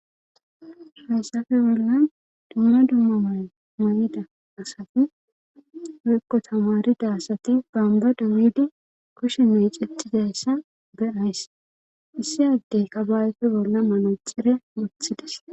hayssafe bolla dumma dumma may mayida asati woykko tamarida asati bamba dawidi koshinne icettidayssa beays issi addey qabawefe bolla manaxire wothides